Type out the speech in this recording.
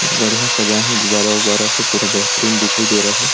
इस बढ़िया सजाया है गुब्बारा उबारा से बेहतरीन दिखाई दे रहा है।